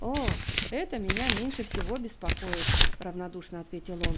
о это меня меньше всего беспокоит равнодушно ответил он